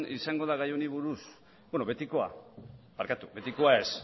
izango da gai honi buruz betikoa barkatu betikoa ez